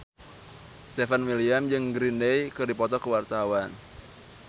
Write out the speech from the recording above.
Stefan William jeung Green Day keur dipoto ku wartawan